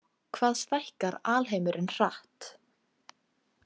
Hvað stækkar alheimurinn hratt?